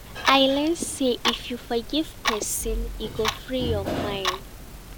I learn sey if you forgive pesin, e go free your mind